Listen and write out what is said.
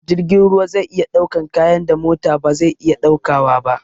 Jirgin ruwa zai iya ɗaukan kayan da mota ba zai iya ɗaukawa ba